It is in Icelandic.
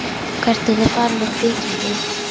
Hvert ertu að fara með kvikindið?